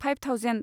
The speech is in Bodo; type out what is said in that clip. five thousand